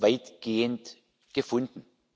weitgehend gefunden.